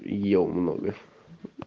ел много